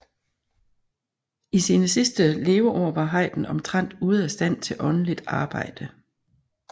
I sine sidste leveår var Haydn omtrent ude af stand til åndeligt arbejde